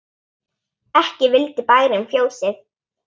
Ekki vildi bærinn fjósið.